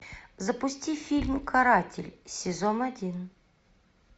запусти фильм каратель сезон один